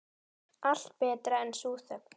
Allt betra en sú þögn.